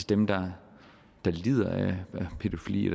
dem der lider af pædofili